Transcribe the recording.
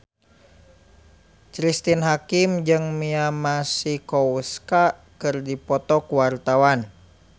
Cristine Hakim jeung Mia Masikowska keur dipoto ku wartawan